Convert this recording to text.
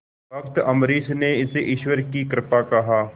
भक्त अम्बरीश ने इसे ईश्वर की कृपा कहा